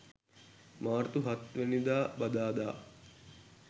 මාර්තු 07 වැනි දා බදාදා